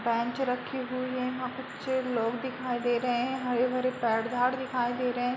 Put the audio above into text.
Bench रखी हुई हैं। यहाँ कुछ लोग दिखाई दे रहे हैं। हरे भरे पेड़ झाड़ दिखाई दे रहे --